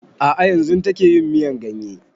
A'a yanzun take yin miyan ganye